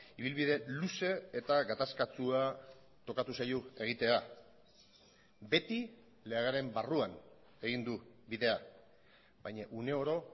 ibilbide luze eta gatazkatsua tokatu zaio egitea beti legearen barruan egin du bidea baina uneoro